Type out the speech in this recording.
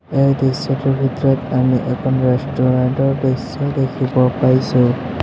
এই দৃশ্যটোৰ ভিতৰত আমি এখন ৰেষ্টুৰেণ্ট ৰ দৃশ্য দেখিব পাইছোঁ।